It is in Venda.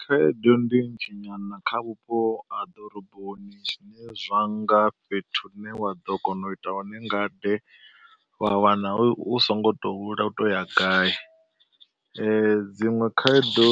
Khaedu ndi nnzhi nyana kha vhupo ha ḓoroboni, zwine zwa nga fhethu hu ne wa ḓo kona u ita hone ngade. Wa wana hu so ngo to u hula u to u ya gai, dziṅwe khaedo